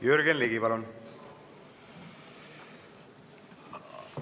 Jürgen Ligi, palun!